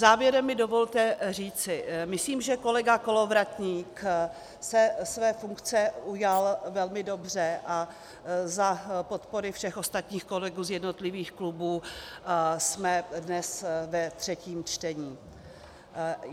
Závěrem mi dovolte říci: Myslím, že kolega Kolovratník se své funkce ujal velmi dobře, a za podpory všech ostatních kolegů z jednotlivých klubů jsme dnes ve třetím čtení.